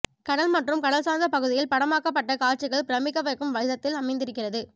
கடல் மற்றும் கடல் சார்ந்த பகுதியில் படமாக்கப்பட்ட காட்சிகள் பிரமிக்க வைக்கும் விதத்தில் அமைந்திருக்கிறது